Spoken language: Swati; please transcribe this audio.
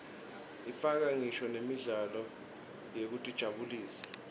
ifaka ngisho nemidlalo yekutijabulisa